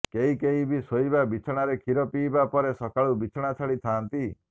କେହି କେହି ବି ଶୋଇବା ବିଛଣାରେ କ୍ଷୀର ପିଇବା ପରେ ସକାଳୁ ବିଛଣା ଛାଡ଼ି ଥାଆନ୍ତି